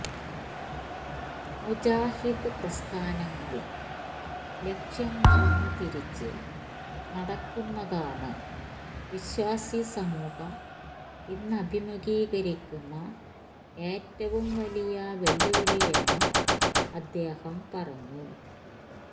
മുജാഹിദ് പ്രസ്ഥാനങ്ങള് ലക്ഷ്യം മറന്ന് തിരിച്ച് നടക്കുന്നതാണ് വിശ്വാസി സമൂഹം ഇന്നഭിമുഖീകരിക്കുന്ന ഏറ്റവും വലിയ വെല്ലുവിളിയെന്നും അദ്ദേഹം പറഞ്ഞു